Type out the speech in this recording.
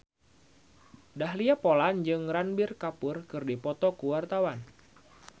Dahlia Poland jeung Ranbir Kapoor keur dipoto ku wartawan